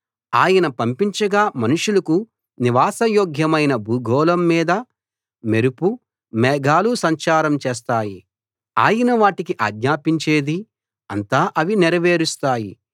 ఆయన పంపించగా మనుషులకు నివాసయోగ్యమైన భూగోళం మీద మెరుపు మేఘాలు సంచారం చేస్తాయి ఆయన వాటికి ఆజ్ఞాపించేది అంతా అవి నెరవేరుస్తాయి